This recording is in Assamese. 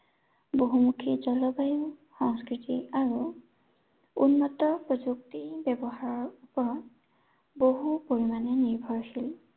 বহুমুখী জলবায়ু সংস্কৃতি আৰু, উন্নত প্ৰযুক্তিৰ ব্য়ৱহাৰৰ ওপৰত, বহু পৰিমানে নিৰ্ভৰশীল।